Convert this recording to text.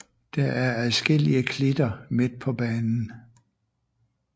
Der er adskillige klitter midt på banen